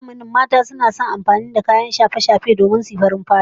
Wannan zamanin mata da yawa suna son yin amfani da wasu kayan shafe-shafe don suyi farin fata